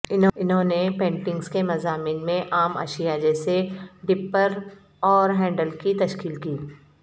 انہوں نے پینٹنگز کے مضامین میں عام اشیاء جیسے ڈپپر اور ہینڈل کی تشکیل کی